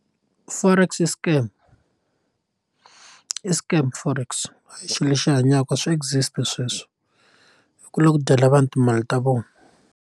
Forex i scam i scam forex a hi xilo lexi hanyaka swa exit sweswo i ku la ku dyela vanhu timali ta vona.